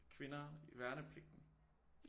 Kvinder i værnepligten